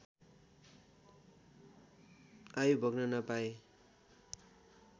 आयु भोग्न नपाए